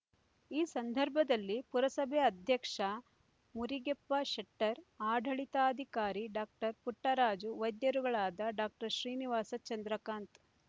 ಈ ಸಂದರ್ಭದಲ್ಲಿ ಪುರಸಭೆ ಅಧ್ಯಕ್ಷ ಮುರಿಗೆಪ್ಪ ಶೆಟ್ಟರ್ ಆಡಳಿತಾಧಿಕಾರಿ ಡಾಕ್ಟರ್ ಪುಟ್ಟರಾಜು ವೈದ್ಯರುಗಳಾದ ಡಾಕ್ಟರ್ ಶ್ರೀನಿವಾಸ ಚಂದ್ರಕಾಂತ್